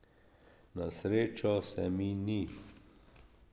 Na srečo se mi ni.